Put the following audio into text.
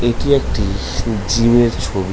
এটি একটি জিমের ছবি।